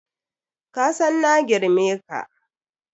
Kasan na girme ka.